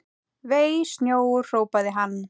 Vei, snjór hrópaði hann.